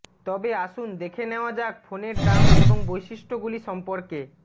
তবে আসুন দেখে নেওয়া যাক ফোনের দাম এবং বৈশিষ্ট্যগুলি সম্পর্কে